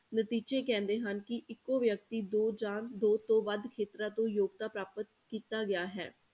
ਨਤੀਜੇ ਕਹਿੰਦੇ ਹਨ ਕਿ ਇੱਕੋ ਵਿਅਕਤੀ ਦੋ ਜਾਂ ਦੋ ਤੋਂ ਵੱਧ ਖੇਤਰਾਂ ਤੋਂ ਯੋਗਤਾ ਪ੍ਰਾਪਤ ਕੀਤਾ ਗਿਆ ਹੈ।